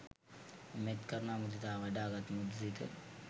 මෙත්, කරුණා, මුදිතා වඩාගත් මෘදු සිත